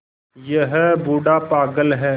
यह बूढ़ा पागल है